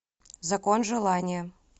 закон желания